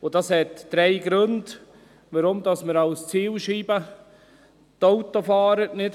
Es gibt drei Gründe, warum wir nicht als Zielscheibe die Autofahrer mehr